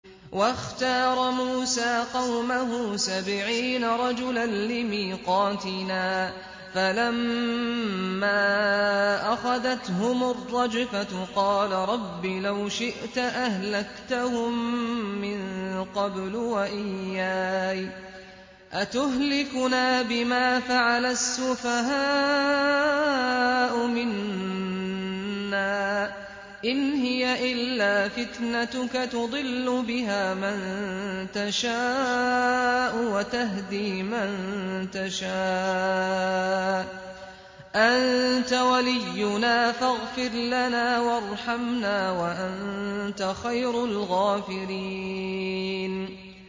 وَاخْتَارَ مُوسَىٰ قَوْمَهُ سَبْعِينَ رَجُلًا لِّمِيقَاتِنَا ۖ فَلَمَّا أَخَذَتْهُمُ الرَّجْفَةُ قَالَ رَبِّ لَوْ شِئْتَ أَهْلَكْتَهُم مِّن قَبْلُ وَإِيَّايَ ۖ أَتُهْلِكُنَا بِمَا فَعَلَ السُّفَهَاءُ مِنَّا ۖ إِنْ هِيَ إِلَّا فِتْنَتُكَ تُضِلُّ بِهَا مَن تَشَاءُ وَتَهْدِي مَن تَشَاءُ ۖ أَنتَ وَلِيُّنَا فَاغْفِرْ لَنَا وَارْحَمْنَا ۖ وَأَنتَ خَيْرُ الْغَافِرِينَ